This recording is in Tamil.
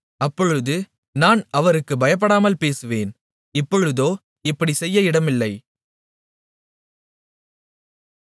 அப்பொழுது நான் அவருக்குப் பயப்படாமல் பேசுவேன் இப்பொழுதோ அப்படிச் செய்ய இடமில்லை